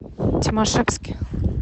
тимашевске